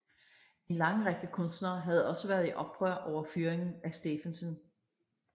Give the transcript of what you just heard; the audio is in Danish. En lang række kunstnere havde også været i oprør over fyringen af Stephensen